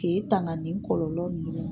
K'e tanga nin kɔlɔlɔ ninnu ma.